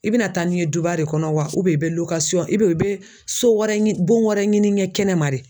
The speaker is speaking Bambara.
I bɛna taa n'i ye duba de kɔnɔ wa i bɛ i bɛ i bɛ so wɛrɛ ɲini bon wɛrɛ ɲini n ye kɛnɛma de